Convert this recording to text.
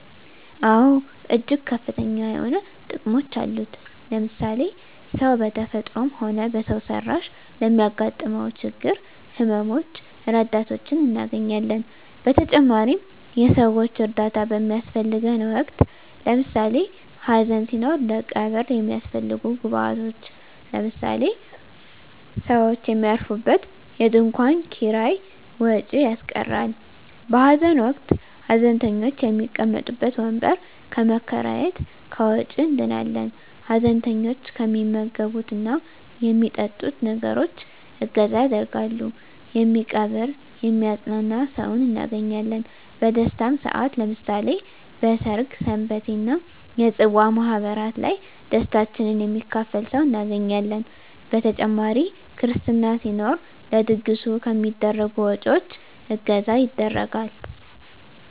አወ እጅግ ከፍተኛ የሆኑ ጥቅሞች አሉት ለምሳሌ ሰው በተፈጥሮም ሆነ በሰው ሰራሽ ለሚያገጥመው ችግሮች ህመመ ሞች ረዳቶችን እናገኛለን በተጨማሪም የሰወች እርዳታ በሚያሰፈልገን ወቅት ለምሳሌ ሀዘን ሲኖር ለቀብር የሚያሰፈልጉ ግብአቶች ለምሳሌ ሰውች የሚያርፉበት የድንኮን ኪራይ ወጭ ያስቀራል በሀዘን ወቅት ሀዘንተኞች የሚቀመጡበት ወንበር ከመከራየት ከወጭ እንድናለን ሀዘንተኞች የሚመገብት እና የሚጠጡትን ነገሮች እገዛ ያደርጋሉ የሚቀብር የሚያጵናና ሰውን እናገኛለን በደስታም ሰአት ለምሳሌ በሰርግ ሰንበቴ እና የፅዋ ማህበራት ላይ ደስታችን የሚካፈል ሰው እናገኛለን በተጨማሪ ክርስትና ሲኖር ለድግሱ ከሚደረጉ ወጭወች እገዛ ይደረጋል።